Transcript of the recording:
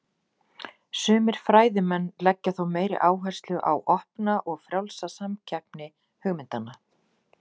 Sumir fræðimenn leggja þó meiri áherslu á opna og frjálsa samkeppni hugmyndanna.